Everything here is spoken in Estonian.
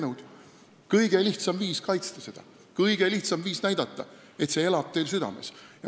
See on kõige lihtsam viis hümni kaitsta, kõige lihtsam viis näidata, et see elab teil südames.